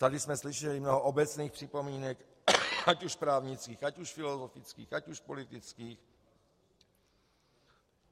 Tady jsme slyšeli mnoho obecných připomínek, ať už právnických, ať už filozofických, ať už politických.